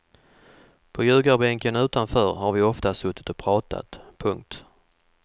På ljugarbänken utanför har vi ofta suttit och pratat. punkt